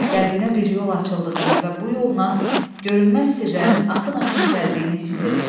Qəlbinə bir yol açıldığını və bu yolla görünməz sirlərin axın-axın gəldiyini hiss etdi.